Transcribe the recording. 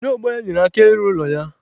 Ndị ọgbọ ya nyere ya aka ịlụ ụlọ ya.